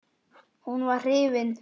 Hún var hrifin.